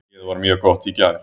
Hnéð var mjög gott í gær.